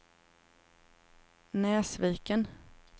Näsviken